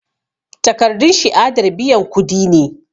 Takardun shiadar biyan kudi ne